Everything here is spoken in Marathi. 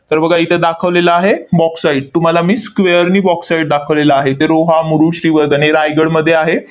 तर बघा इथे दाखवलेलं आहे bauxite तुम्हाला मी square नी bauxite दाखवलेलं आहे. इथे रोहा, मुरुड, श्रीवर्धने, रायगडमध्ये आहे.